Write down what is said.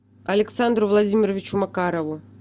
александру владимировичу макарову